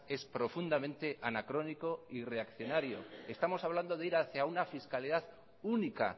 es profundamente anacrónico y reaccionario estamos hablando de ir hacia una fiscalidad única